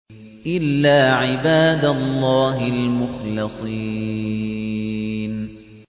إِلَّا عِبَادَ اللَّهِ الْمُخْلَصِينَ